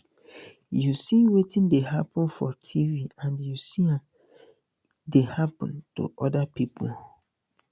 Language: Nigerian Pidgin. you see wetin dey happun for tv and you see am dey happun to oda pipo